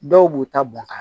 Dɔw b'u ta bɔn ka